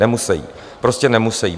Nemusejí, prostě nemusejí.